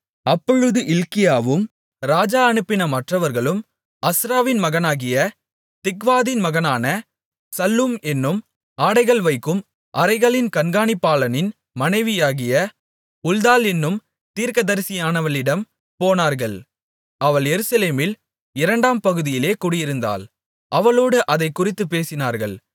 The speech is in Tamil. அப்பொழுது இல்க்கியாவும் ராஜா அனுப்பின மற்றவர்களும் அஸ்ராவின் மகனாகிய திக்வாதின் மகனான சல்லூம் என்னும் ஆடைகள் வைக்கும் அறைகளின் கண்காணிப்பாளனின் மனைவியாகிய உல்தாள் என்னும் தீர்க்கதரிசியானவளிடம் போனார்கள் அவள் எருசலேமில் இரண்டாம் பகுதியிலே குடியிருந்தாள் அவளோடு அதைக்குறித்துப் பேசினார்கள்